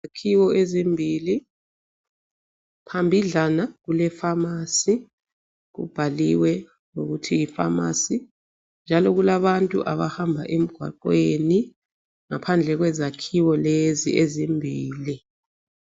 Izakhiwo ezimbili phambidlana kulefamasi kubhaliwe ukuthi yifamasi njalo kulabantu abahamba emgwaqweni ngaphandle kwezakhiwo lezi ezimbili.